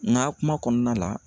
Ŋa kuma kɔɔna la